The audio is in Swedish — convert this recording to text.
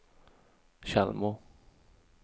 Tjällmo